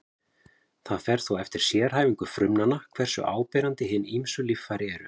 Það fer þó eftir sérhæfingu frumnanna hversu áberandi hin ýmsu líffæri eru.